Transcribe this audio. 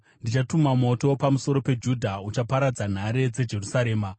ndichatuma moto pamusoro peJudha, uchaparadza nhare dzeJerusarema.”